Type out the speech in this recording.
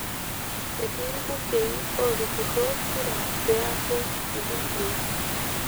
Etii ilbungei ootupurro kura pee eeku ilbungei.